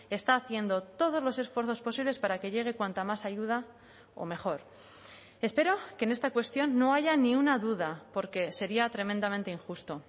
está haciendo todos los esfuerzos posibles para que llegue cuanta más ayuda o mejor espero que en esta cuestión no haya ni una duda porque sería tremendamente injusto